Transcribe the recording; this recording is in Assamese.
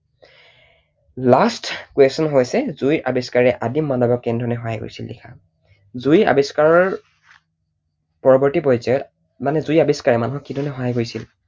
Last question হৈছে জুইৰ আৱিষ্কাৰে আদিম মানৱক কেনেধৰণেৰে সহায় কৰিছিল লিখা। জুই আৱিষ্কাৰৰ পৰৱৰ্তী পৰ্য্যায়ত মানে জুইৰ আৱিষ্কাৰে মানুহক কি ধৰণেৰে সহায় কৰিছিল?